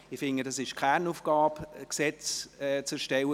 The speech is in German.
Ich bin der Meinung, es sei die Kernaufgabe, Gesetze zu erstellen.